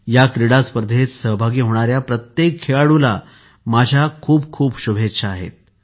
या क्रीडा स्पर्धेत सहभागी होणाऱ्या प्रत्येक खेळाडूला माझ्या खूप खूप शुभेच्छा